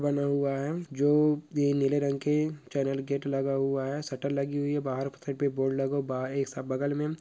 बना हुआ है जो ये नीले रंग के चेनल गेट लगा हुआ है शटर लगी हुई है बाहर पे बोर्ड लगा बहार बगल में--